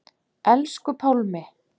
Elsku Pálmi.